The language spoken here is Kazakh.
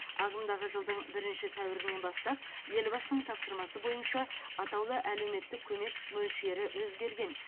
ағымдағы жылдың бірінші сәуірінен бастап елбасының тапсырмасы бойынша атаулы әлеуметтік көмек мөлшері өзгерген